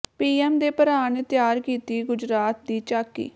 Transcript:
PM ਦੇ ਭਰਾ ਨੇ ਤਿਆਰ ਕੀਤੀ ਗੁਜਰਾਤ ਦੀ ਝਾਕੀ